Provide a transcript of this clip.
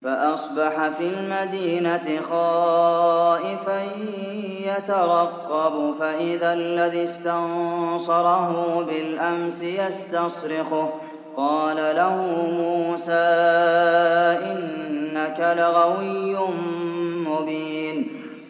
فَأَصْبَحَ فِي الْمَدِينَةِ خَائِفًا يَتَرَقَّبُ فَإِذَا الَّذِي اسْتَنصَرَهُ بِالْأَمْسِ يَسْتَصْرِخُهُ ۚ قَالَ لَهُ مُوسَىٰ إِنَّكَ لَغَوِيٌّ مُّبِينٌ